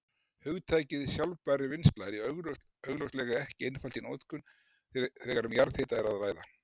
Hugtakið sjálfbær vinnsla er augljóslega ekki einfalt í notkun þegar um jarðhita er að ræða.